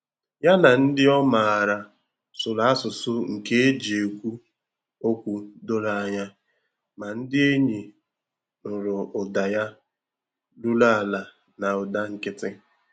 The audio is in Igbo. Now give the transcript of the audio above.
Ya na ndị ọ maara sụrụ asụsụ nke eji ekwụ okwu doro anya, ma ndị enyi nụrụ ụda ya ruru ala na ụda nkịtị.